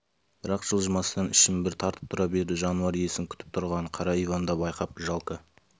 бірақ жылжымастан ішін бір тартып тұра берді жануар иесін күтіп тұрғанын қара иван да байқап жалко